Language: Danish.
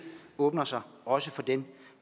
åbner sig også for den